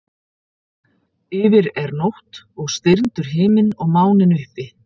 Yfir er nótt og stirndur himinn og máninn uppi.